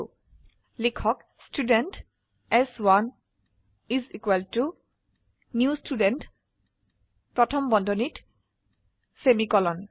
সুেয়ে লিখক ষ্টুডেণ্ট চ1 is equal to new student প্রথম বন্ধনীত সেমিকোলন